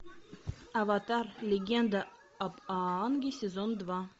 аватар легенда об аанге сезон два